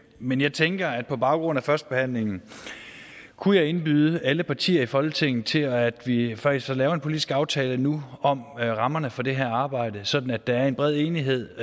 men jeg tænker at på baggrund af førstebehandlingen kunne jeg indbyde alle partier i folketinget til at vi vi faktisk får lavet en politisk aftale nu om rammerne for det her arbejde sådan at der er en bred enighed